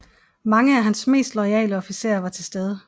Mange af hans mest loyale officerer var til stede